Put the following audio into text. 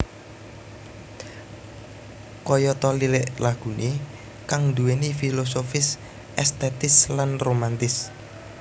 Kayata lirik laguné kang nduwèni filosofis estetis lan romantis